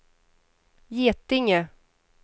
Getinge